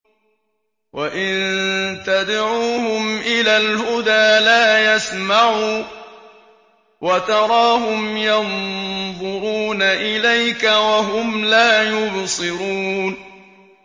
وَإِن تَدْعُوهُمْ إِلَى الْهُدَىٰ لَا يَسْمَعُوا ۖ وَتَرَاهُمْ يَنظُرُونَ إِلَيْكَ وَهُمْ لَا يُبْصِرُونَ